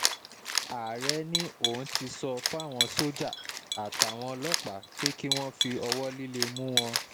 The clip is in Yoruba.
ààrẹ ni òun ti sọ fáwọn sójà àtàwọn ọlọ́pàá pé kí wọ́n fi ọwọ́ líle mú wọn